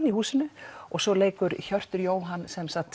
í húsinu og svo leikur Hjörtur Jóhann